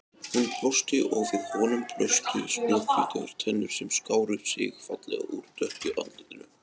Hún brosti og við honum blöstu snjóhvítar tennur sem skáru sig fallega úr dökku andlitinu.